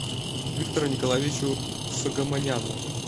виктору николаевичу согомоняну